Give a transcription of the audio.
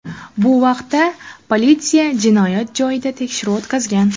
Bu vaqtda politsiya jinoyat joyida tekshiruv o‘tkazgan.